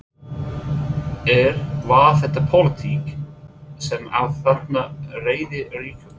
Er, var það pólitík sem að þarna réði ríkjum?